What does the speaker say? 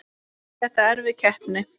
Er þetta erfið keppni?